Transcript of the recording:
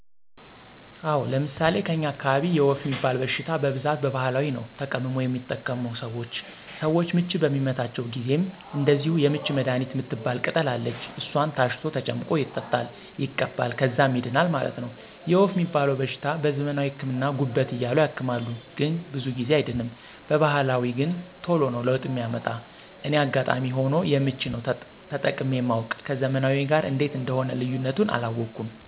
አወ፤ ለምሣሌ ከኛ አካባቢ የወፍ ሚባል በሽታ በብዛት በባህላዊ ነዉ ተቀምሞ የሚጠቀሙት ሰወች። ሰወች ምች በሚመታቸው ጊዜም እንደዚሁ የምች መድሀኒት ምትባል ቅጠል አለች እሷን ታሽቶ ተጨምቆ ይጠጣል ይቀባል ከዛም ይድናል ማለት ነው። የወፍ ሚባለዉ በሽታ በዘመናዊ ህክምና ጉበት እያሉ ያክማሉ ግን ብዙ ጊዜ አይድንም በባህላዊ ገን ተሎ ነው ለውጥ ሚያመጣ እኔ አጋጣሚ ሁኖ የምች ነው ተጠቅሜ ማውቅ ከዘመናዊው ጋር እንዴት እንደሆነ ልዩነቱን አላወኩም።